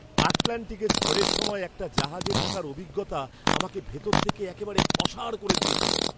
আটলান্টিকে ঝড়ের সময় একটি জাহাজে থাকার অভিজ্ঞতা আমাকে ভিতর থেকে একেবারে অসাড় করে দিয়েছিল!